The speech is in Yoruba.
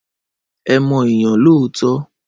Ẹ mọ ènìyàn lóòótọ́.